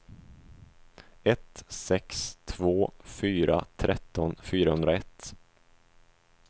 ett sex två fyra tretton fyrahundraett